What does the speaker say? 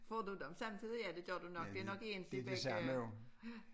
Får du dem samtidig ja det gjorde du nok det nok egentlig begge